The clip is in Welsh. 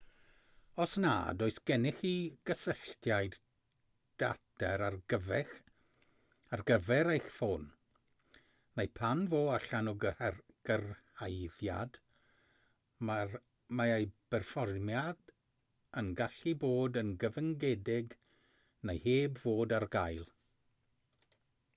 os nad oes gennych chi gysylltiad data ar gyfer eich ffôn neu pan fo allan o gyrhaeddiad mae ei berfformiad yn gallu bod yn gyfyngedig neu heb fod ar gael